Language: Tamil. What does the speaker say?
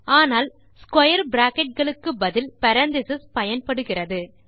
ஆனால் ஸ்க்வேர் பிராக்கெட் களுக்கு பதில் பேரெந்தீசஸ் பயன்படுகிறது